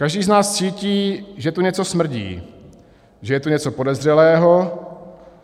Každý z nás cítí, že tu něco smrdí, že je tu něco podezřelého.